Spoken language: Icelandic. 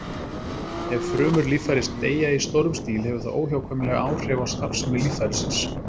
Ef frumur líffæris deyja í stórum stíl hefur það óhjákvæmilega áhrif á starfsemi líffærisins.